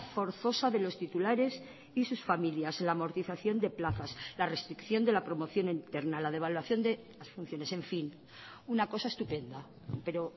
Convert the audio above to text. forzosa de los titulares y sus familias la amortización de plazas la restricción de la promoción interna la devaluación de las funciones en fin una cosa estupenda pero